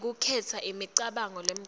ngekukhetsa imicabango lemcoka